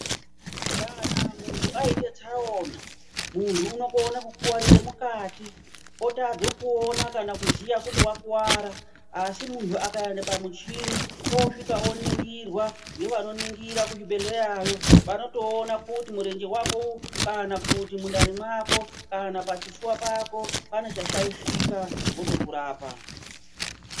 Kana munhu aite tsaona unokone kukuwarire mukati wotadze kuona kana kuziya kuti wakuwara asi munhu akaenda pamuchini osvika akaningirwa ngevanoningira kuchibhedhlerayo vanotoona kuti murenje wako, kana kuti mundani mwavo kana pachifuva pako pane chashaishika votokurapa.